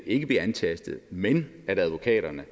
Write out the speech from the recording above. ikke bliver antastet men at advokaterne